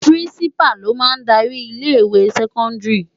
Pirinsipá ló má n dári ilé iwé sèkòndári